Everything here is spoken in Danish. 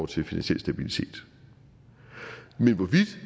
til finansiel stabilitet men hvorvidt